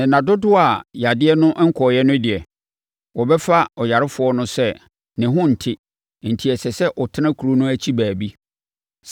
Na nna dodoɔ a yadeɛ no nkɔeɛ no deɛ, wɔbɛfa ɔyarefoɔ no sɛ ne ho nte enti ɛsɛ sɛ ɔtena kuro no akyi baabi.